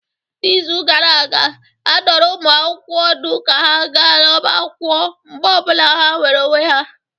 N'izu gara aga, a dụrụ ụmụ akwụkwọ ọdụ ka ha gaa n'ọbá akwụkwọ mgbe ọ bụla ha nwere onwe ha